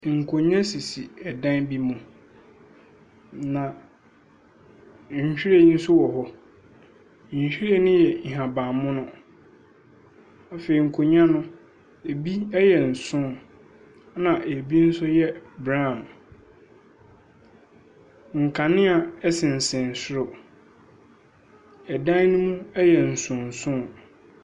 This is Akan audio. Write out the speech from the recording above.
Nkonnwa sisi dan bi mu, na nhwiren nso wɔ hɔ. Nhwiren no yɛ nhaban mono. Afei nkonnwa no, ebi yɛ nson, ɛnna ebi nso yɛ brown. Nkanea sensɛn soro. Dan no mu yɛ nsonson.